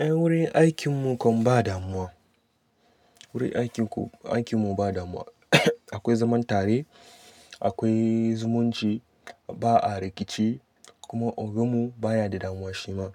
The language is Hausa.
Eh wurin aikin mu kam ba damuwa. Wurin aikin ku, aikin mu ba damuwa. Akwai zaman tare, akwai zumunci, ba'a rikici kuma oga mu baya da damuwa shi ma.